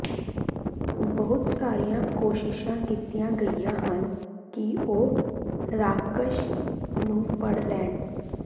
ਬਹੁਤ ਸਾਰੀਆਂ ਕੋਸ਼ਿਸ਼ਾਂ ਕੀਤੀਆਂ ਗਈਆਂ ਹਨ ਕਿ ਉਹ ਰਾਖਸ਼ ਨੂੰ ਫੜ ਲੈਣ